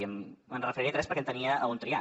i em referiré a tres perquè tenia on triar